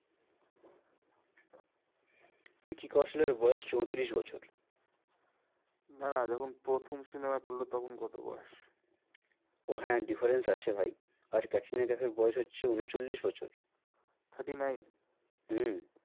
ভিকি কৌশলের বয়স চৌত্রিশ বছর দাঁড়া যখন প্রথম cinema করলো তখন কত বয়স? ও হ্যাঁ difference আছে ভাই আর ক্যাটরিনা কাইফ এর বয়স হচ্ছে উনচল্লিশ বছর thirty nine হম